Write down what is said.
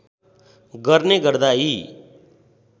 गर्ने गर्दा यी